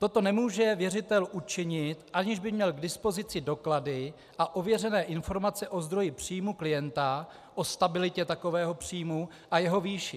Toto nemůže věřitel učinit, aniž by měl k dispozici doklady a ověřené informaci o zdroji příjmu klienta, o stabilitě takového příjmu a jeho výši.